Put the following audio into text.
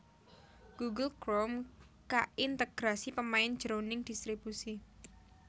Google Chrome kaintegrasi pemain jroning dhistribusi